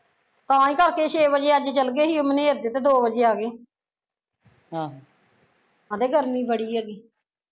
ਤਾਂ ਹੀਂ ਕਰਕੇ ਛੇ ਵਜੇ ਅੱਜ ਚੱਲ ਗਏ ਸੀ ਮਨੇਰ ਦੇ ਤੇ ਦੋ ਵਜੇ ਆਗੇ ਕਹਿਂਦੇ ਗਰਮੀ ਬੜੀ ਐਗੀ